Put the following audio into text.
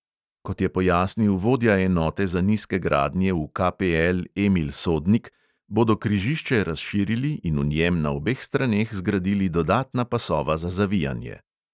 Kot je pojasnil vodja enote za nizke gradnje v KPL emil sodnik, bodo križišče razširili in v njem na obeh straneh zgradili dodatna pasova za zavijanje.